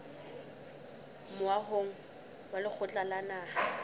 moahong wa lekgotla la naha